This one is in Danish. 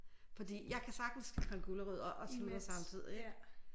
Fordi jeg kan sagtens skrælle gulerødder og sludre samtidig